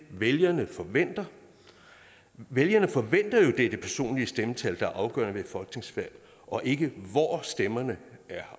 vælgerne forventer vælgerne forventer jo det er det personlige stemmetal der er afgørende ved et folketingsvalg og ikke hvor stemmerne er